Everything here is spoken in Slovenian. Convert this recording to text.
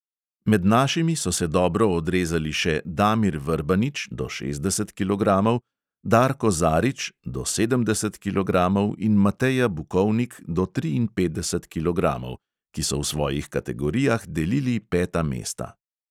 Med našimi so se dobro odrezali še damir vrbanič (do šestdeset kilogramov), darko zarič (do sedemdeset kilogramov) in mateja bukovnik (do triinpetdeset kilogramov), ki so v svojih kategorijah delili peta mesta.